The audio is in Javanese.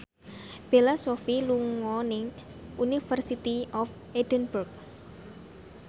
Bella Shofie lagi sekolah nang University of Edinburgh